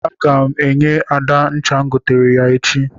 Aga m enye Ada ncha m goteere ya echi.